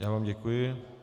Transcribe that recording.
Já vám děkuji.